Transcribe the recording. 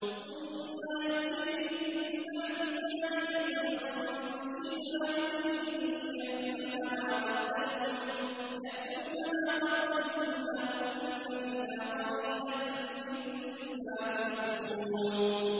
ثُمَّ يَأْتِي مِن بَعْدِ ذَٰلِكَ سَبْعٌ شِدَادٌ يَأْكُلْنَ مَا قَدَّمْتُمْ لَهُنَّ إِلَّا قَلِيلًا مِّمَّا تُحْصِنُونَ